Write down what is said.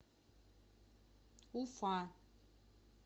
уфа